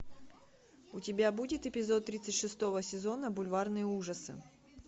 у тебя будет эпизод тридцать шестого сезона бульварные ужасы